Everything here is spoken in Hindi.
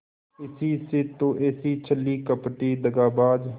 इसी से तो ऐसी छली कपटी दगाबाज